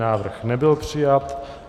Návrh nebyl přijat.